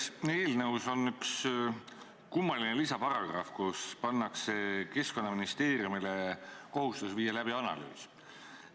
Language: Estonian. Selles eelnõus on üks kummaline lisaparagrahv, kus pannakse Keskkonnaministeeriumile kohustus viia läbi analüüs.